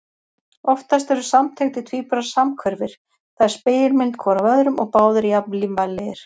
Oftast eru samtengdir tvíburar samhverfir, það er spegilmynd hvor af öðrum og báðir jafn lífvænlegir.